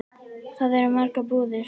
Þar eru margar búðir.